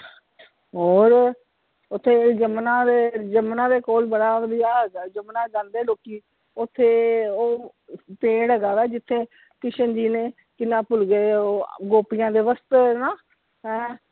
ਹੋਰ ਓਥੇ ਯਮੁਨਾ ਦੇ ਯਮੁਨਾ ਦੇ ਕੋਲ ਬੜਾ ਵਧੀਆ ਹੈਗਾ ਯਮੁਨਾ ਜਾਂਦੇ ਲੋਕੀ, ਓਥੇ ਉਹ ਪੇੜ ਹੈਗਾ ਵਾ ਜਿਥੇ ਕਿਸ਼ਨ ਜੀ ਨੇ ਕੀ ਨਾ ਭੁੱਲ ਗਏ ਉਹ ਗੋਪੀਆਂ ਦੇ ਵਸਤਰ ਨਾ ਹੈ।